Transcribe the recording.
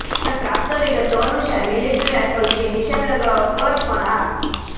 પ્રાપ્ત વિગતો અનુસાર મિલિટ્રી રાઈફલથી નિશાન લગાવવા પર પણ આ